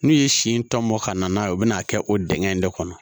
N'u ye si in tɔ mɔ ka na n'a ye u bɛ n'a kɛ o dingɛ in de kɔnɔ